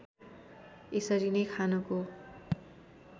यसरी नै खानको